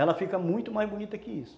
Ela fica muito mais bonita que isso.